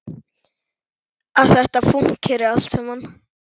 Að þetta fúnkeri allt saman.